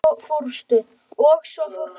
Og svo fórstu.